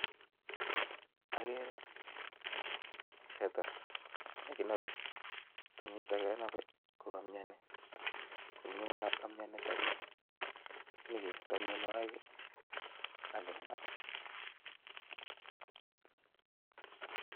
Ageere teta nekinobe, tenyiton kenobee kokamiani, koyomioni tenyii kestoo mionwogiik ak kekirinda